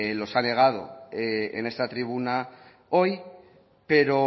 los ha negado en esta tribuna hoy pero